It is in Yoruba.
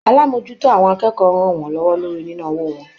Alamojuto àwọn akẹ́kọ̀ọ́ rán wọn lọwọ lórí nina owó wọn.